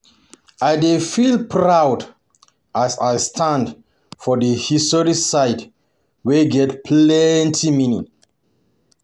I dey feel proud as I stand for the historic site wey get plenty meaning.